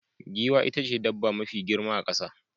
Giwa ita ce dabba mafi girma a kasa.